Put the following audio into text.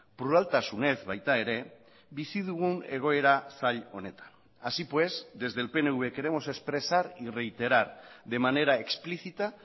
pluraltasunez baita ere bizi dugun egoera zail honetan así pues desde el pnv queremos expresar y reiterar de manera explícita